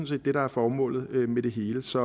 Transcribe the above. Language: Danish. set det der er formålet med det hele så